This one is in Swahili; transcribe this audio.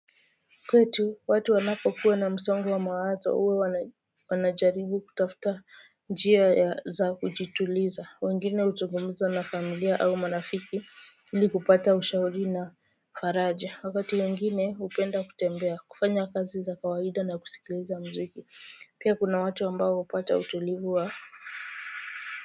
Kwetu watu wanapokuwa na msongo wa mawazo huwa wana wanajaribu kutafuta njia za kujituliza wengine huzungumza na familia au marafiki ili kupata ushauri na faraja wakati wengine hupenda kutembea kufanya kazi za kawaida na kusikiliza muziki pia kuna watu ambao hupata utulivu wa.